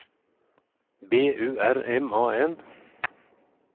B U R M A N